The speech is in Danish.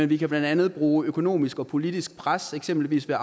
vi kan blandt andet bruge økonomisk og politisk pres eksempelvis ved at